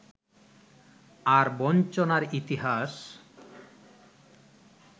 আর বঞ্চনার ইতিহাস